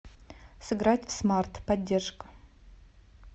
сыграть в смарт поддержка